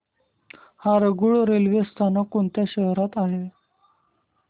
Harangul railway स्थानक कोणत्या शहरात आहे